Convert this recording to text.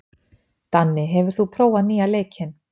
Danni, hefur þú prófað nýja leikinn?